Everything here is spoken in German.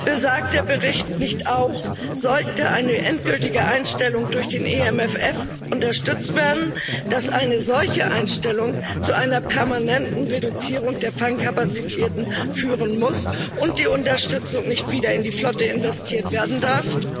Besagt der Bericht nicht auch, dass, sollte eine endgültige Einstellung durch den EMFF unterstützt werden, eine solche Einstellung zu einer permanenten Reduzierung der Fangkapazität führen muss und die Unterstützung nicht wieder in die Flotte investiert werden darf?